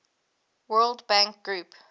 world bank group